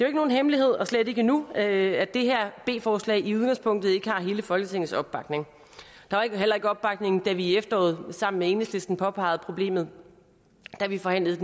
ikke nogen hemmelighed og slet ikke nu at det her b forslag i udgangspunktet ikke har hele folketingets opbakning der var heller ikke opbakning da vi i efteråret sammen med enhedslisten påpegede problemet da vi forhandlede